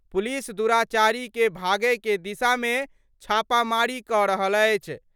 Police दुराचारी के भागय के दिशा मे छापामारी क' रहल अछि।